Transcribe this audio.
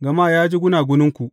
gama ya ji gunaguninku.’